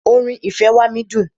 Orin "ìfẹ́ wá mí" dùn.